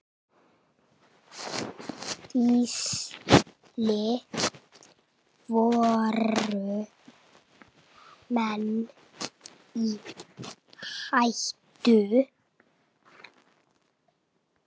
Gísli: Voru menn í hættu?